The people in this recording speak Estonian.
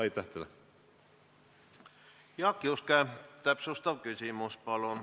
Jaak Juske, täpsustav küsimus, palun!